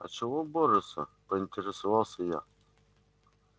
а чего борются поинтересовалась я